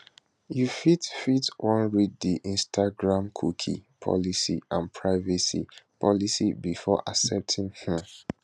you fit fit wan read di instagramcookie policyandprivacy policybefore accepting um